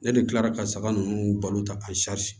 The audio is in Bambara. Ne de kilara ka saga ninnu balo ta azi